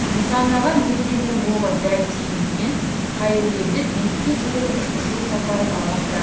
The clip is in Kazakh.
нысанаға мергеннің оғы дәл тигенімен қайыргелді биікке көтеріліп ұшу сапарын жалғастырады